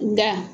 Da